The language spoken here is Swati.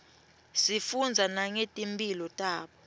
sifundza nangeti mphilo tabo